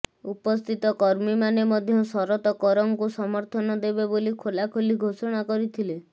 ଉପସ୍ଥିତ କର୍ମୀମାନେ ମଧ୍ୟ ଶରତ କରଙ୍କୁ ସମର୍ଥନ ଦେବେ ବୋଲି ଖୋଲାଖୋଲି ଘୋଷଣା କରିଥିଲେ